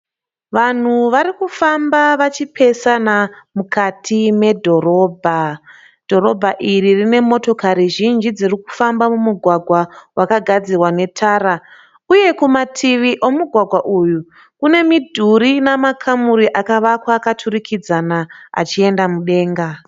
Vanhu vari kufamba vachipesana mukati medhorobha. Dhorobha iri rine motokari zhinji dziri kufamba mumugwagwa wakagadzirwa netara uye kumativi omugwagwa uyu kune midhuri ina makamuri akavakwa akaturikidzana achienda mudenga.